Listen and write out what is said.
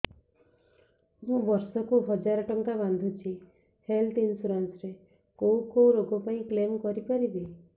ମୁଁ ବର୍ଷ କୁ ହଜାର ଟଙ୍କା ବାନ୍ଧୁଛି ହେଲ୍ଥ ଇନ୍ସୁରାନ୍ସ ରେ କୋଉ କୋଉ ରୋଗ ପାଇଁ କ୍ଳେମ କରିପାରିବି